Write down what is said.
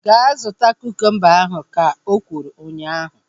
Gaa zụta kukumba ahu! Ka o kwuru ụnyaahụ